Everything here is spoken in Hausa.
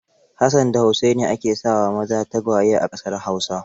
Hassan da Usaini ake sa wa maza tagwaye a ƙasar Hausa.